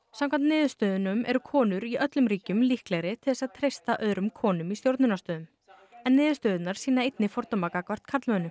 samkvæmt niðurstöðunum eru konur í öllum ríkjum líklegri til þess að treysta öðrum konum í stjórnunarstöðum en niðurstöðurnar sýna einnig fordóma gagnvart karlmönnum